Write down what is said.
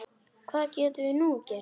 Hvað getum við nú gert?